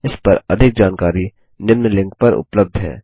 इस पर अधिक जानकारी निम्न लिंक पर उपलब्ध है